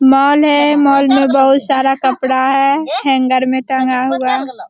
Mall है। Mall में बहुत सारा कपड़ा है हैंगर में टंगा हुआ।